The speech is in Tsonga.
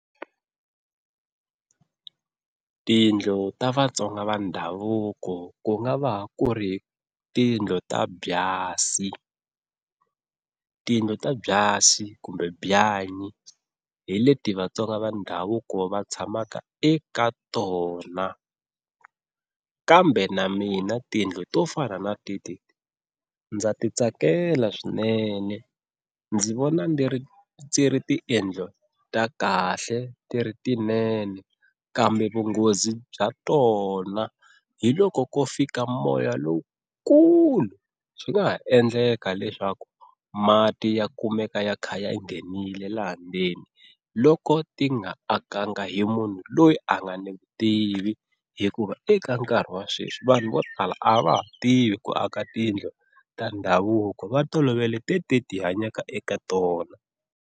Tiyindlu ta Vatsonga va ndhavuko ku nga va ku ri tiyindlu ta byasi, tiyindlu ta byasi kumbe byanyi hi leti Vatsonga va ndhavuko va tshamaka eka tona kambe na mina tiyindlu to fana na teti ndza ti tsakela swinene ndzi vona ni ri ndzi ri tiyindlu ta kahle ti ri tinene, kambe vunghozi bya tona hi loko ko fika moya lowukulu swi nga ha endleka leswaku mati ya kumeka ya kha ya nghenile laha ndzeni loko ti nga akaka hi munhu loyi a nga ni vutivi, hikuva eka nkarhi wa sweswi vanhu vo tala a va ha tivi ku aka tiyindlu ta ndhavuko va tolovele tetiya hi hanyaka eka tona.